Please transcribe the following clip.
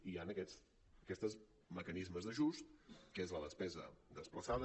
i hi han aquests mecanismes d’ajust que és la despesa desplaçada